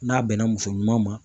N'a bɛnna muso ɲuman ma.